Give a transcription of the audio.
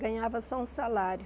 Ganhava só um salário.